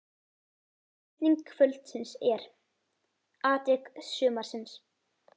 Spurning kvöldsins er: Atvik sumarsins?